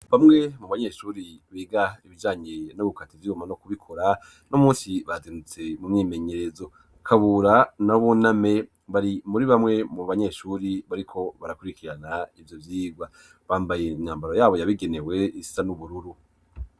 Bamwe mu banyeshure biga ibijanyiye n'ugukata ivyuma no kubikora uno munsi bazindutse mu mwimenyerezo Kabura na Buname bari muri bamwe mu banyeshure bariko barakurikirana ivyo vyigwa bambaye imyambaro yabo yabigenewe isa n'ubururu.